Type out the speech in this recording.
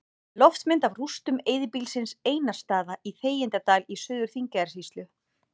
Loftmynd af rústum eyðibýlisins Einarsstaða í Þegjandadal í Suður-Þingeyjarsýslu.